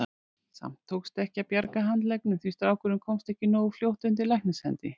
Samt tókst ekki að bjarga handleggnum því strákurinn komst ekki nógu fljótt undir læknishendur.